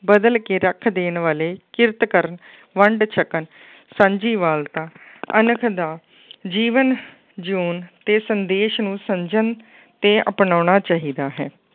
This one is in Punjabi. ਬਦਲ ਕੇ ਰੱਖ ਦੇਣ ਵਾਲੇ ਕਿਰਤ ਕਰਨ ਵੰਡ ਛਕਣ ਸਾਂਝੀ ਵਾਲਤਾ ਅਣਖ ਦਾ ਜੀਵਨ ਜਿਊਣ ਤੇ ਸੰਦੇਸ਼ ਨੂੰ ਸਮਝਣ ਤੇ ਅਪਨਾਉਣਾ ਚਾਹੀਦਾ ਹੈ।